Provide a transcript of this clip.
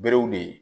Berew de